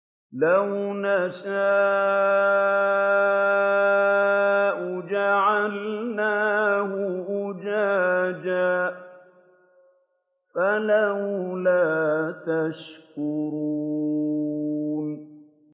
لَوْ نَشَاءُ جَعَلْنَاهُ أُجَاجًا فَلَوْلَا تَشْكُرُونَ